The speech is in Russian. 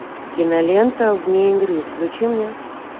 кинолента вне игры включи мне